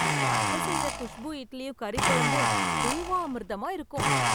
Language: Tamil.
அத்த செய்ற குஷ்பூ இட்லியும் கறிக்குழம்பும் தேவாமிர்தமா இருக்கும்.